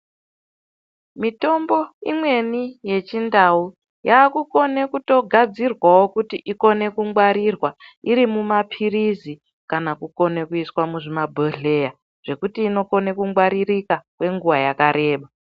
Mitombo imweni yechi ndau, yaakukone kutogadzirwawo kuti ikone kungwarirwa irimumapirizi kana kukone kuiswa muzvimabhodhleya zvekuti inokone kungwaririka kwenguwa yakareba.